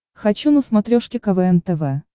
хочу на смотрешке квн тв